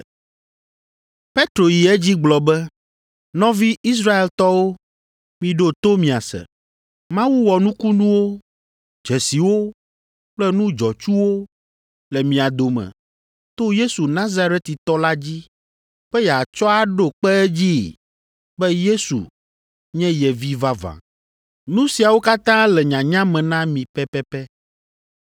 Petro yi edzi gblɔ be, “Nɔvi Israeltɔwo, miɖo to miase! Mawu wɔ nukunuwo, dzesiwo kple nu dzɔtsuwo le mia dome to Yesu Nazaretitɔ la dzi be yeatsɔ aɖo kpe edzii be Yesu nye ye Vi vavã. Nu siawo katã le nyanya me na mi pɛpɛpɛ.